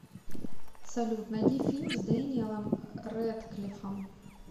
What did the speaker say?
салют найди фильм с дэниелом рэдклиффом